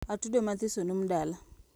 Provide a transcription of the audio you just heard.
Atudo mathiso noom dala